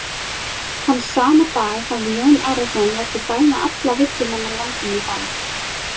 Þann sama dag hafði Jón Arason látið dæma alla villumenn á landinu í bann.